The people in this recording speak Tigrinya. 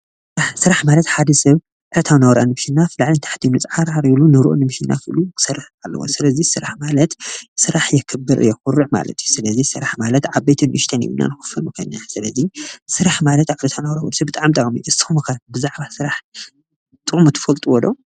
ስራሕ ማለት ሓደ ሰብ ዕለታዊ ናብራ ንምሽናፍ ላዕልን ታሕትን ኢሉ ፅዓርዓር ኢሉ ንርኡ ንምሽናፍ ኢሉ ክሰርሕ ኣለዎ ፤ስለዚ ስራሕ ማለት ስራሕ የክብር የኩርዕ ማለት እዩ ፤ስለዚ ስራሕ ማለት ዓበይትን ንእሽተይን ኢልና ንከፍሎ ንክእል ኢና፤ ስራሕ ማለት ብጣዕሚ ጠቃሚ እዩ። ንስኩም ከ ብዛዕባ ስራሕ ጥቅሙ ትፈልጥዎ ዶ?